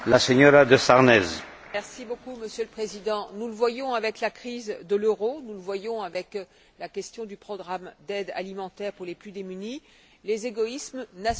Monsieur le Président, nous le voyons avec la crise de l'euro, nous le voyons avec la question du programme d'aide alimentaire pour les plus démunis les égoïsmes nationaux sont tristement de retour.